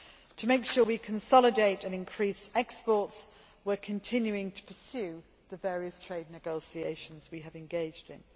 To make sure we consolidate and increase exports, we are continuing to pursue the various trade negotiations we have engaged in.